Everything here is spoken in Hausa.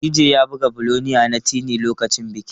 DJ ya buga 'Billionaire' na Teni lokacin bikin.